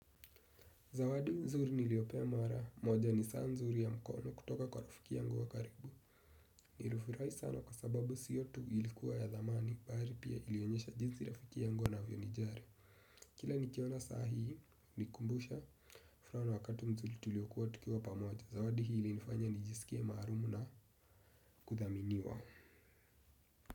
Zawadi nzuri niliopewa mara, moja ni saa nzuri ya mkono kutoka kwa rafiki yangu wa karibu. Nifurahi sana kwa sababu siyo tu ilikuwa ya dhamani, bari pia ilionyesha jinsi rafiki yangu anavyonijari. Kila nikiona sahihi, nikumbusha, mfano wakati mzuri tuliokuwa tukiwa pamoja. Zawadi hii ilinifanya nijisikie maarum na kudhaminiwa.